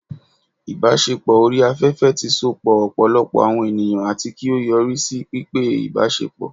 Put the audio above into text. ibaṣepọ ori afefe ti sopọ ọpọlọpọ awọn eniyan ati ki o yori si pípẹ ibasepo